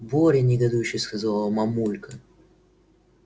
боря негодующе сказала мамулька